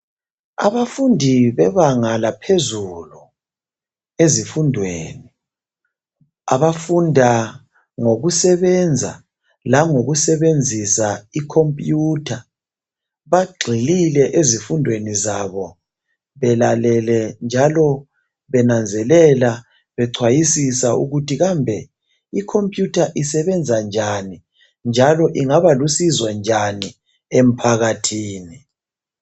abafundi bebanga laphezulu ezifundweni abafunda ngokusebenza langokusebenzisa i computer bagxilile ezifundweni zabo belalele njalo benanzelela becwayisisa ukuthi kambe i computer isebenza njani njalo ingaba lusizo njani emphakathini